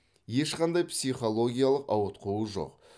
ешқандай психологиялық ауытқуы жоқ